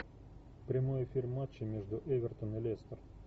прямой эфир матча между эвертон и лестер